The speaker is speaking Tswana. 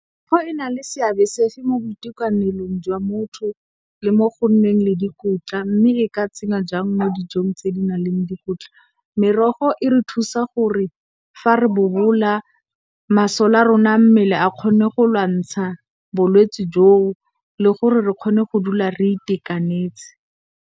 Merogo e na le seabe se sefe mo boitekanelong jwa motho le mo go nneng le dikotla mme, e ka tsenngwa jang mo dijong tse di na leng dikotla? Merogo e re thusa gore fa re bobola masole a rona a mmele a kgone go lwantsha bolwetsi joo le gore re kgone go dula re itekanetse.